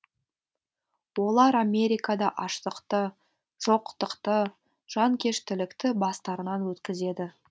олар америкада аштықты жоқтықты жанкештілікті бастарынан өткізеді